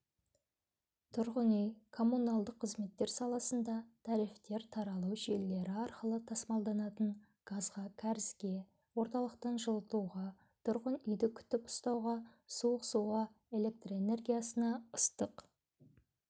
тұрғын үй-коммуналдық қызметтер саласында тарифтер тарату желілері арқылы тасымалданатын газға кәрізге орталықтан жылытуға тұрғын үйді күтіп ұстауға суық суға электрэнергиясына ыстық